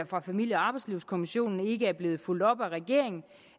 fra familie og arbejdslivskommissionen ikke er blevet fulgt op af regeringen